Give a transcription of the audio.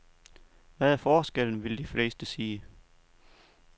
Hvad er forskellen, vil de fleste sige.